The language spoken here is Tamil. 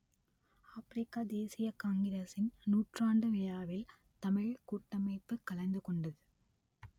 ஆப்பிரிக்க தேசியக் காங்கிரசின் நூற்றாண்டு விழாவில் தமிழ்க் கூட்டமைப்பு கலந்து கொண்டது